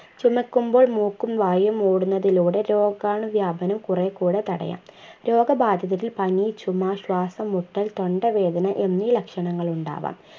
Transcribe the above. ചുമക്കുമ്പോൾ മൂക്കും വായയും മൂടുന്നതിലൂടെ രോഗാണുവ്യാപനം കുറേ കൂടെ തടയാം രോഗബാധിതരിൽ പനി ചുമ ശ്വാസംമുട്ടൽ തൊണ്ടവേദന എന്നീ ലക്ഷണങ്ങൾ ഉണ്ടാവാം